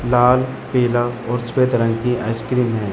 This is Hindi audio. लाल किला और सफेद रंग की आइसक्रीम है।